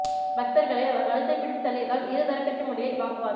பக்தர்களை அவர் கழுத்தை பிடித்து தள்ளியதால் இரு தரப்புக்கும் இடையே வாக்குவாதம்